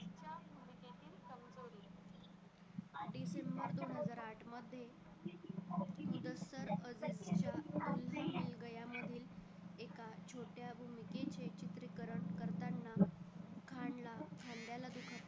December दोन हजार आठ मध्ये दिग्दर्शक मधील एका छोट्या भूमिकेचे चित्रीकरण करताना खान ला खांद्याला दुखापत